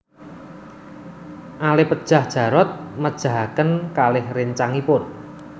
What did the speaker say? Ale pejah Jarot mejahaken kalih réncangipun